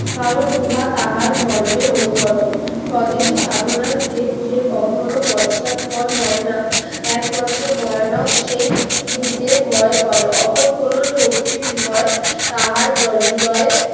কারণ উহা তাহার ধর্মের অনুগত স্বদেশী সাধনার যে সে কখনো পশ্চাৎ পদ হয় না একমাত্র ভয়ানক সে যে ভয় করে অপর কোন শক্তির ভয় তাহার হৃদয়ে